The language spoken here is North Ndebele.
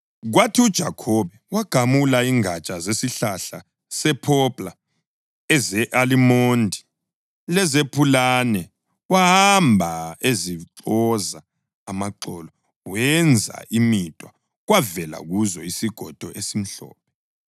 Kwathi uJakhobe wagamula ingatsha zesihlahla sephopla, eze-alimondi lezepulane wahamba ezixoza amaxolo wenza imidwa kwavela kuzo isigodo esimhlophe.